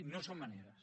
no són maneres